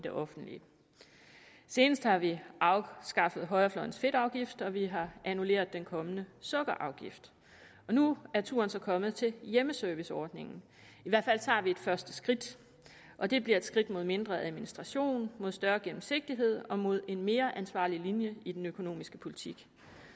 det offentlige senest har vi afskaffet højrefløjens fedtafgift og vi har annulleret den kommende sukkerafgift nu er turen så kommet til hjemmeserviceordningen i hvert fald tager vi et første skridt og det bliver et skridt mod mindre administration mod større gennemsigtighed og mod en mere ansvarlig linje i den økonomiske politik